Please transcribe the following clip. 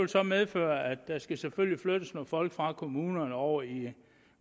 så medføre at der selvfølgelig skal flyttes nogle folk fra kommunerne og over i